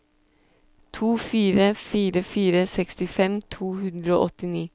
to fire fire fire sekstifem to hundre og åttini